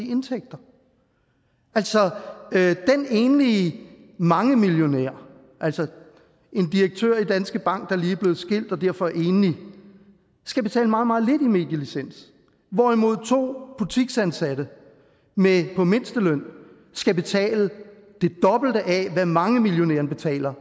i indtægter altså den enlige mangemillionær en direktør i danske bank der lige er blevet skilt og derfor er enlig skal betale meget meget lidt i medielicens hvorimod to butiksansatte på mindsteløn skal betale det dobbelte af hvad mangemillionæren betaler